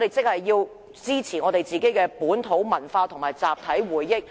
換言之，我們必須支持本土文化和集體回憶。